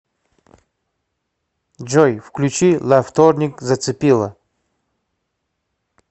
джой включи ла вторник зацепила